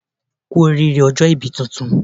Kú oríire ọjọ́ ibí tuntun